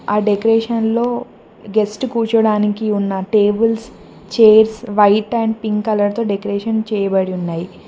ఆ డెకరేషన్ లో గెస్ట్ కూర్చోడానికి ఉన్న tables chairs white and pink colour తో డెకరేషన్ చేయబడి ఉన్నాయి.